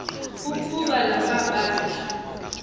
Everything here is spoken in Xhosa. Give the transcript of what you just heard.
okuba la mabandla